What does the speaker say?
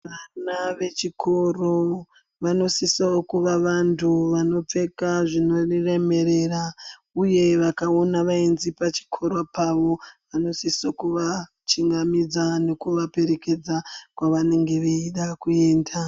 Vana vechikoro vanosisa kuva vantu vanopfeka zvinoremerera, uye vakaona vaenzi pachikoro pavo vanosisa kuva chingamidza nekuvaperekedza kwavanenge veida kuenda.